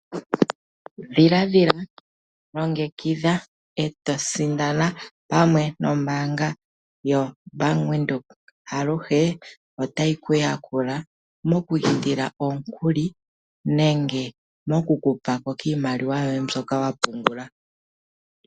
Dhiladhila longekidha eto sindana pamwe nombaanga yobank Windhoek aluhe otayi kuyakula mokwiindila omukuli nenge mokukupako kiimaliwa yoye mbyoka wa pumbwa nenge wa pungula.